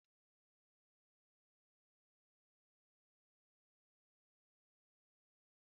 Akpu ka a na-akpọkwa fufu, a na-esikwa na akpụ abara ábà mee ya